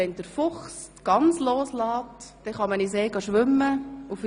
Lässt der Fuchs die Gans los, kann man in den See schwimmen gehen.